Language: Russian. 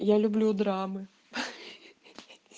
я люблю драмы ха-ха